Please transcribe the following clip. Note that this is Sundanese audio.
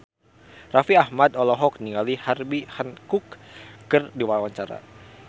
Raffi Ahmad olohok ningali Herbie Hancock keur diwawancara